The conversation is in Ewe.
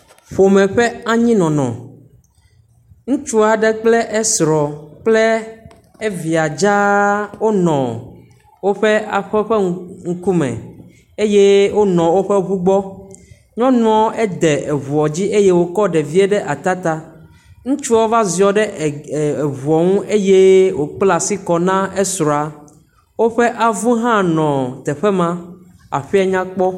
Ƒome ƒe anyinɔnɔ. Ŋutsu aɖe kple esrɔ̃ kple evia dzaa wonɔ woƒe aƒe ƒe ŋku ŋkume eye wonɔ woƒe ŋu gbɔ. Nyɔnua ede ŋua dzi eye wokɔ ɖevia ɖe ata ta. Ŋutsua va ziɔ ɖe e e eŋua nu eye wokpla asi kɔ na esrɔ̃. Woƒe avu hã nɔ teƒe ma. Aƒea nyakpɔ.